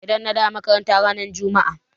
Idan na dawu a makaranta ran jumma'a.